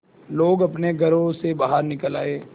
लोग अपने घरों से बाहर निकल आए